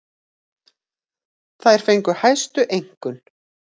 Þær fengu hæstu einkunn.